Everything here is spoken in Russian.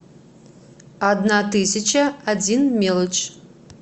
одна тысяча один мелочь